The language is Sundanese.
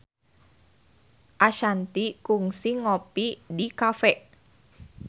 Ashanti kungsi ngopi di cafe